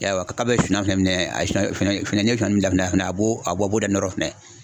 I y'a ye wa k'a bɛ finina fɛnɛ minɛ